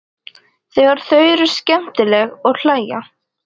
Þegar þau eru skemmtileg og hlæja.